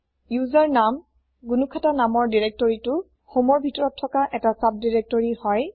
ওচেৰ নাম জ্ঞুখাতা নামৰ দিৰেক্তৰিটো হমৰ ভিতৰত থকা ১টা চাব দিৰেক্তৰি হয়